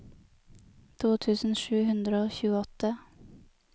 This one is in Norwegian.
to tusen sju hundre og tjueåtte